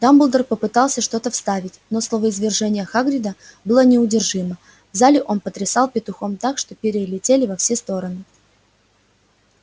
дамблдор попытался что-то вставить но словоизвержение хагрида было неудержимо в зале он потрясал петухом так что перья летели во все стороны